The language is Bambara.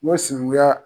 N ko sinankunya